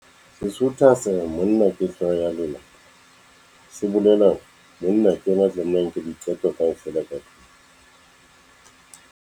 Sesotho sa monna ke hlooho ya lelapa se bolela hore monna ke yena a tlamehang a nke diqeto kaofela ka tlung.